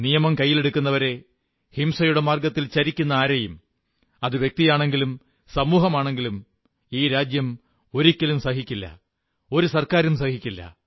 നിയമം കൈയ്യിലെടുക്കുന്നവരെ ഹിംസയുടെ മാർഗ്ഗത്തിൽ ചരിക്കുന്ന ആരെയും അത് വ്യക്തിയാണെങ്കിലും സമൂഹമാണെങ്കിലും ഈ രാജ്യം ഒരിക്കലും അനുവദിക്കില്ല ഒരു ഗവൺമെന്റും അനുവദിക്കില്ല